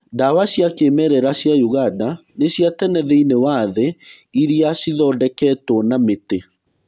Ndawa cia kĩmerera cia ũganda nĩ cia tene thĩiniĩ wa thĩ iria cithondeketwo na mĩtĩ.